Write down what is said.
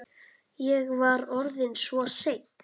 Ég var orðinn svo seinn.